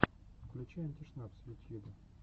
включи антишнапс в ютьюбе